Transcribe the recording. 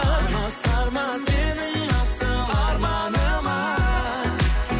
аласармас менің асыл арманыма